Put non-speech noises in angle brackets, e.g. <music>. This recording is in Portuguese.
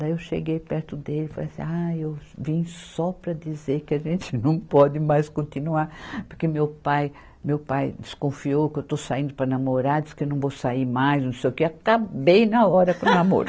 Daí eu cheguei perto dele e falei assim, ah, eu vim só para dizer que a gente não pode mais continuar, porque meu pai, meu pai desconfiou que eu estou saindo para namorar, disse que eu não vou sair mais, não sei o quê, acabei na hora com o namoro. <laughs>